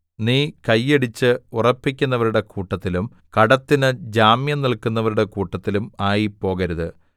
നീ കൈയടിച്ച് ഉറപ്പിക്കുന്നവരുടെ കൂട്ടത്തിലും കടത്തിന് ജാമ്യം നില്‍ക്കുന്നവരുടെ കൂട്ടത്തിലും ആയിപ്പോകരുത്